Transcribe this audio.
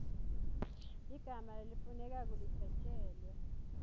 ligama lelifunekako lidvwetjelwe